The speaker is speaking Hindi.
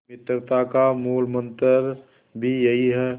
मित्रता का मूलमंत्र भी यही है